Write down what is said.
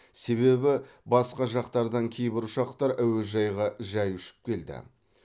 себебі басқа жақтардан кейбір ұшақтар әуежайға жай ұшып келді